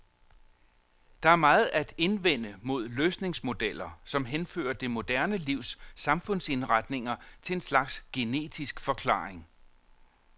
Der er meget at indvende mod løsningsmodeller, som henfører det moderne livs samfundsindretninger til en slags genetisk forklaring.